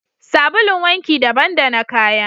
Sabulun wanki daban da na kaya